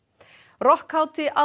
rokkhátíð